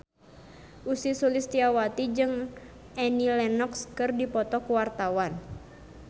Ussy Sulistyawati jeung Annie Lenox keur dipoto ku wartawan